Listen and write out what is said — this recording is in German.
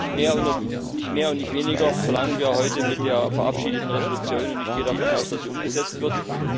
Nicht mehr und nicht weniger verlangen wir heute mit der verabschiedeten Entschließung, und ich gehe davon aus, dass sie umgesetzt wird.